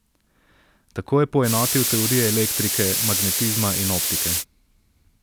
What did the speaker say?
Tako je poenotil teorije elektrike, magnetizma in optike.